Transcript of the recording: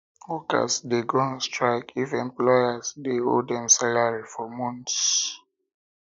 workers de go on strike if employers de owe dem salary for months